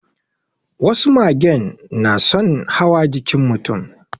Wasu magen na son hawa jikin mutum